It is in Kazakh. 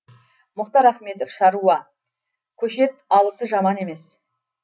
мұхтар ахметов шаруа көшет алысы жаман емес